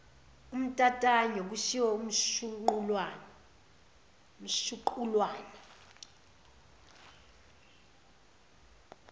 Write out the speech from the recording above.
untantayo kushiwo umshuqulwana